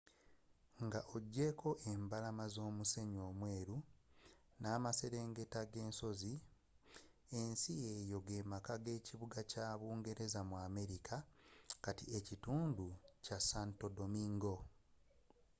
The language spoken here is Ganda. nga ojeeko embalama z'omusenyu omweeru ne'amaserengeta g'esozzi ensi eyo gemakka g'ekibuga ky'abungereza mu america kati ekitundu kya santo domingo